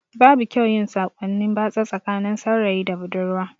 Babu kyau yin sakonni batsa tsakanin saurayi da budurwa